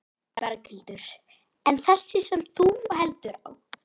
Berghildur: En þessi sem þú heldur á?